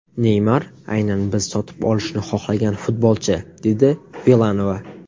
Neymar aynan biz sotib olishni xohlagan futbolchi” dedi Vilanova.